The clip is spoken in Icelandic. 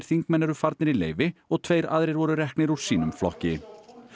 þingmenn eru farnir í leyfi og tveir aðrir voru reknir úr sínum flokki